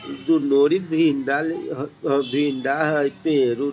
दू भिंडा हय पेड़-उड़ --